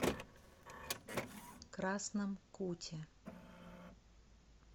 красном куте